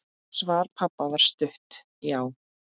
Svar pabba var stutt: Já!